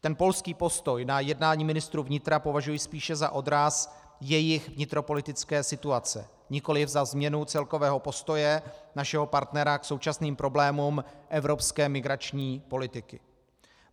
Ten polský postoj na jednání ministrů vnitra považuji spíše za odraz jejich vnitropolitické situace, nikoliv za změnu celkového postoje našeho partnera k současným problémům evropské migrační politiky.